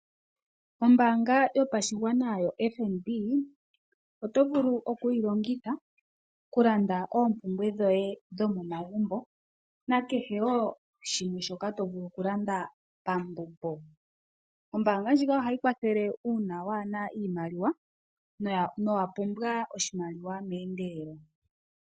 Ombaanga yopashigwana yoFNB, oto vulu okuyi longitha oku landa oompumbwe dhoye dhomomagumbo, nakehe wo shimwe shoka to vulu oku landa pambumbo. Ombaanga ndjika ohayi kwathele uuna waana iimaliwa, nowa pumbwa iimaliwa meendelelo.